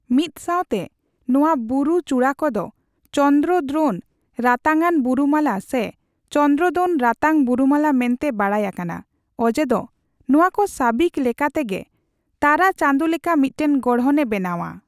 ᱢᱤᱫᱥᱟᱣᱛᱮ, ᱱᱚᱣᱟ ᱵᱩᱨᱩ ᱪᱩᱲᱟᱹ ᱠᱚᱫᱚ ᱪᱚᱱᱫᱨᱚᱫᱨᱳᱱ ᱨᱟᱛᱟᱝᱟᱱ ᱵᱩᱨᱩᱢᱟᱞᱟ ᱥᱮ ᱪᱚᱱᱫᱨᱚᱫᱨᱳᱱ ᱨᱟᱛᱟᱝ ᱵᱩᱨᱩᱢᱟᱞᱟ ᱢᱮᱱᱛᱮ ᱵᱟᱰᱟᱭ ᱟᱠᱟᱱᱟ, ᱚᱡᱮ ᱫᱚ ᱱᱚᱣᱟᱠᱚ ᱥᱟᱹᱵᱤᱠ ᱞᱮᱠᱟᱛᱮ ᱜᱮ ᱛᱟᱨᱟᱪᱟᱸᱫᱚ ᱞᱮᱠᱟ ᱢᱤᱫᱴᱟᱝ ᱜᱚᱲᱦᱚᱱᱮ ᱵᱮᱱᱟᱣᱟ ᱾